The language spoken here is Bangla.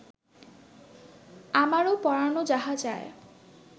আমারো পরানো যাহা চায়